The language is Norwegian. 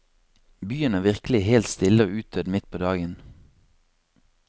Byen er virkelig helt stille og utdødd mitt på dagen.